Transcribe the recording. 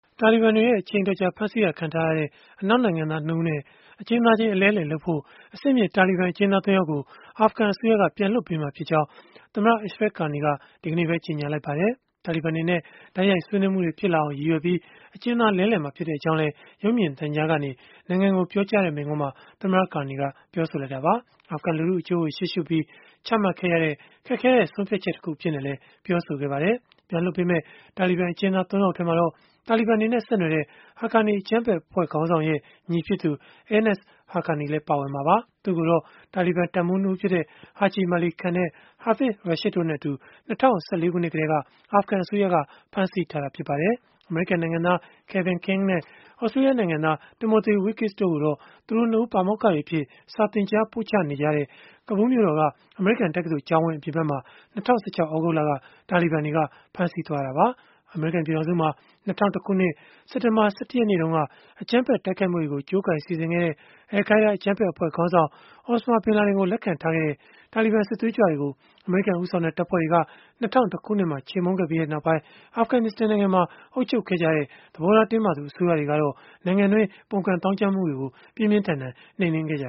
တာလီဘန်တွေ အချိန်အတော်ကြာ ဖမ်းဆီးခံထားရတဲ့ အနောက်နိုင်ငံသား ၂ ဦးနဲ့ အကျဉ်းသားချင်း အလဲအလှယ်လုပ်ဖို့ အဆင့်မြင့် တာလီဘန် အကျဉ်းသား ၃ ယောက်ကို အာဖဂန်အစိုးရက ပြန်လွှတ်ပေးမှာဖြစ်ကြောင်း သမ္မတ Ashraf Ghani က ဒီကနေ့ပဲ ကြေညာလိုက်ပါတယ်။ တာလီဘန်တွေနဲ့ တိုက်ရိုက်ဆွေးနွေးမှုတွေ ဖြစ်လာအောင် ရည်ရွယ်ပြီး အကျဉ်းသားလဲလှယ်မှာ ဖြစ်ကြောင်းလည်း ရုပ်မြင်သံကြားကနေ နိုင်ငံကိုပြောကြားတဲ့ မိန့်ခွန်းမှာ သမ္မတ Ghani က ပြောဆိုလိုက်တာပါ။ အာဖဂန်လူထုအကျိုးကို ရှေ့ရှုပြီး ချမှတ်ခဲ့ရတဲ့ ခက်ခဲ့တဲ့ ဆုံးဖြတ်ချက်တခု အဖြစ်နဲ့လည်း ပြောဆိုခဲ့ပါတယ်။ ပြန်လွှတ်ပေးမယ့် တာလီဘန် အကျဉ်းသား ၃ ယောက်ထဲမှာတော့ တာလီဘန်တွေနဲ့ ဆက်နွယ်တဲ့ Haqqani အကြမ်းဖက်အဖွဲ့ ခေါင်းဆောင်ရဲ့ ညီဖြစ်သူ Anas Haqqani လည်း ပါဝင်မှာပါ။ သူ့ကိုတော့ တာလီဘန် တပ်မှူး ၂ ဦးဖြစ်တဲ့ Haji Mali Khan, Hafiz Rashid တို့နဲ့အတူ ၂၀၁၄ ခုနှစ်ကတည်းက အာဖဂန်အစိုးရက ဖမ်းဆီးထားတာ ဖြစ်ပါတယ်။ အမေရိကန်နိုင်ငံသား Kevin King နဲ့ သြစတြေးလျနိုင်ငံသား Timothy Weekes တို့ကိုတော့ သူတို့ ၂ ဦး ပါမောက္ခတွေအဖြစ် စာသင်ကြားပို့ချနေတဲ့ ကာဘူးမြို့တော်က အမေရိကန်တက္ကသိုလ်ကျောင်းဝင်း အပြင်ဘက်မှာ ၂၀၁၆ သြဂုတ်လက တာဘီဘန်တွေ ဖမ်းဆီးသွားတာပါ။ အမေရိကန် ပြည်ထောင်စုမှာ ၂၀၀၁ ခုနှစ် စက်တင်ဘာ ၁၁ ရက်နေ့တုန်းက အကြမ်းဖက် တိုက်ခိုက်မှုတွေကို ကြိုးကိုင်စီစဉ်ခဲ့တဲ့ al Qaida အကြမ်းဖက်အဖွဲ့ခေါင်းဆောင် Osama bin Laden ကို လက်ခံထားခဲ့တဲ့ တာလီဘန် စစ်သွေးကြွတွေကို အမေရိကန် ဦးဆောင်တဲ့ တပ်ဖွဲ့တွေက ၂၀၀၁ ခုနှစ်မှာ ချေမှုန်းခဲ့ပြီး နောက်ပိုင်း အာဖဂနစ္စတန်နိုင်ငံမှာ အုပ်ချုပ်ခဲ့ကြတဲ့ သဘောထား တင်းမာသူ အစိုးရတွေကတော့ နိုင်ငံတွင်း ပုန်ကန်သောင်းကျန်းမှုတွေကို ပြင်းပြင်းထန်ထန် နှိမ်နင်းခဲ့ကြ